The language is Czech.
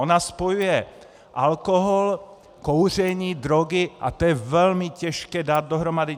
Ona spojuje alkohol, kouření, drogy a to je velmi těžké dát dohromady.